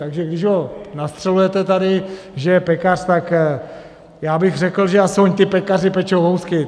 Takže když ho nastřelujete tady, že je pekař, tak já bych řekl, že aspoň ti pekaři pečou housky.